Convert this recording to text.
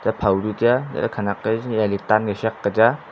phaw chu tai a chatley khenek a chemley tankay sakle tai aa.